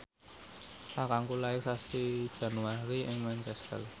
kakangku lair sasi Januari ing Manchester